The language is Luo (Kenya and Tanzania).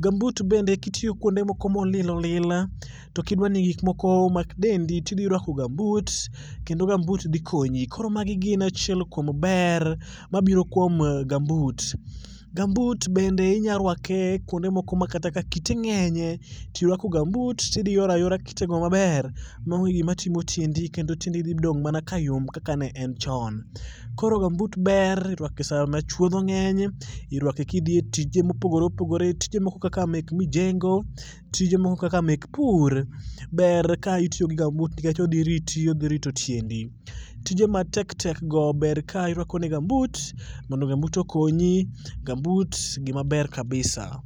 Gambut bende kitiyo kuonde moko molil olil to kidwa ni gik moko kik mak dendi to idhi ruako gambut kendo gambut dhi konyi. Koro magi gin achiel kuom ber mabiro kuom gambut. Gambut bende inyalo ruake kuonde moko ma kite ng'enyie to iruako gambut to idhi yoro ayora kitego maber maonge gima timo tiendi kendo tiendi dhi dong' adong'a kayom kaka ne en chon. Koro gambut ber ruako sama chuodho ng'eny, iruake kidhi e tije mopogore opogore, tije moko kaka mek mijengo, tije mokom kaka mek pur. Ber kitiyo kod gambut nikech odhi rito dendi. Tije matek tek g ber kirwako negi gambut modo okonyi. Gambut gima ber kabisa.